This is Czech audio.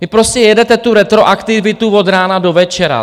Vy prostě jedete tu retroaktivitu od rána do večera.